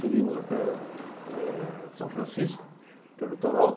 Subimos até eh São Francisco, pelo litoral.